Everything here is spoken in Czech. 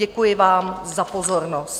Děkuji vám za pozornost.